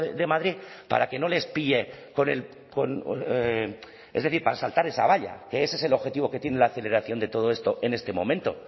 de madrid para que no les pille con es decir para saltar esa valla que ese es el objetivo que tiene la aceleración de todo esto en este momento